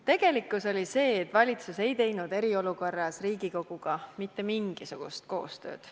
Tegelikkus oli see, et valitsus ei teinud eriolukorras Riigikoguga mitte mingisugust koostööd.